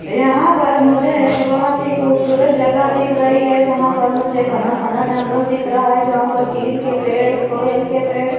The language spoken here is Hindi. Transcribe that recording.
यहां पर मुझे एक बहुत ही खूबसूरत जगह दिख रही है जहां पर मुझे घना घना जंगल दिख रहा है जहां पर चील के पेड़ कोयल के पेड़--